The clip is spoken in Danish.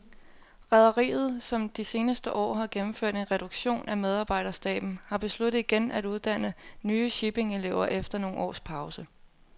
Rederiet, som de seneste år har gennemført en reduktion af medarbejderstaben, har besluttet igen at uddanne nye shippingelever efter nogle års pause.